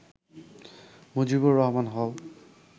মুজিবুর রহমান হল